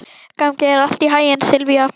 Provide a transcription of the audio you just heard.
Gangi þér allt í haginn, Silvía.